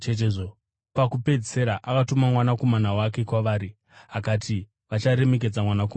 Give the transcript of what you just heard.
Pakupedzisira akatuma mwanakomana wake kwavari. Akati, ‘Vacharemekedza mwanakomana wangu.’